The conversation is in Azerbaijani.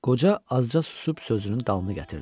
Qoca azca susub sözünün dalını gətirdi.